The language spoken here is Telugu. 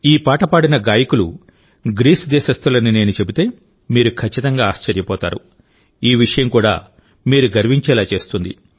ఈ పాట పాడిన గాయకులు గ్రీస్ దేశస్థులని నేను చెబితే మీరు ఖచ్చితంగా ఆశ్చర్యపోతారు ఈ విషయం కూడా మీరు గర్వించేలా చేస్తుంది